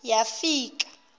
yafika